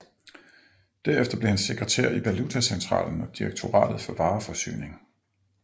Derefter blev han sekretær i Valutacentralen og Direktoratet for Vareforsyning